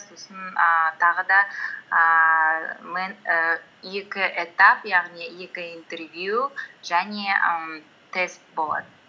сосын ііі тағы да ііі і екі этап яғни екі интервью және ііі тест болады